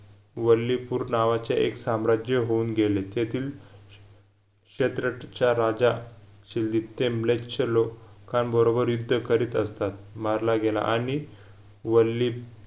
वल्लीपूर नावाचे एक साम्राज्य होऊन गेले तेथील शेतरठच्या राजा लोकांबरोबर युद्ध करीत असतात मारला गेला आणि वल्ली